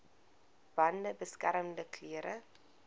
bande beskermende klere